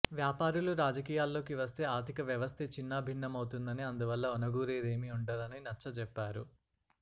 వ్యాపారులు రాజకీయాల్లోకివస్తే ఆర్థికవ్యవస్థే చిన్నాభిన్నమౌ తుందని అందువల్ల ఒనగూరేదేమీ ఉండదని నచ్చచెప్పారు